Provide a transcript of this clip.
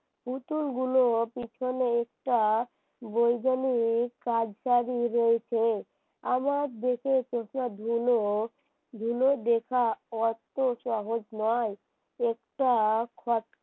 পুতুলগুলো পেছনে আইসা বৈজ্ঞানিক কাজটা কি রয়েছে আমার দেখে সেসবগুলো গুলো দেখা অত সহজ নয় একটা